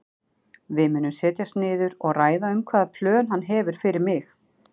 Við munum setjast niður og ræða um hvaða plön hann hefur með mig.